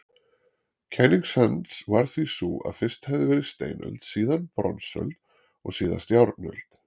Kenning hans var því sú að fyrst hefði verið steinöld, síðan bronsöld og síðast járnöld.